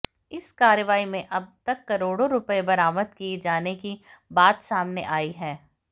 इस कार्रवाई में अब तक करोड़ों रुपए बरामद किए जाने की बात समाने आई है